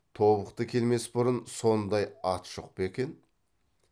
тобықты келмес бұрын сондай ат жоқ па екен